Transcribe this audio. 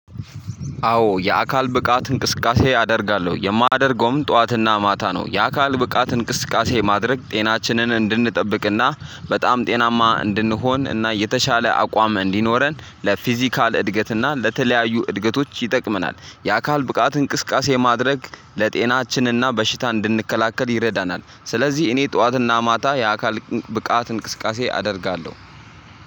አዎ የአካል ብቃት እንቅስቃሴ አደርጋለሁ የማደርገውም ጠዋትና ማታ ነው። የአካል ብቃት እንቅስቃሴ ማድረግ ጤናችንን እንድንጠብቅና በጣም ጤናማ እንድንሆን እና የተሻለ አቋም እንዲኖረን ለፊዚካል እድገትና ለተለያዩ እድገቶች ይጠቅመናል። የአካል ብቃት እንቅስቃሴ ማድረግ ለጤናችንና በሽታ እንድንከላከል ይረዳናል። ስለዚህ እኔ ጠዋትና ማታ የአካል ብቃት እንቅስቃሴ አደርጋለሁ።